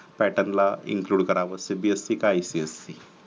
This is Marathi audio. pattern ला include कराव cbse की ipsc